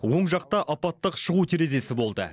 оң жақта апаттық шығу терезесі болды